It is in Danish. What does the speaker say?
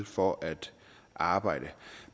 for at arbejde